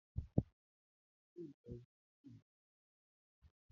Àwọn ènìyàn yóò lọ rí kìnnìún ní ọgbà-ẹranko.